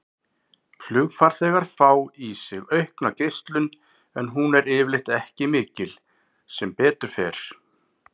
Flugfarþegar fá í sig aukna geislun en hún er yfirleitt ekki mikil, sem betur fer.